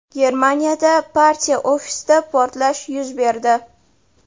Germaniyada partiya ofisida portlash yuz berdi.